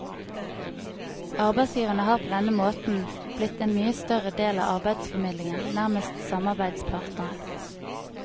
Arbeidsgivere har på denne måten blitt en mye større del av arbeidsformidlingen, nærmest samarbeidspartnere.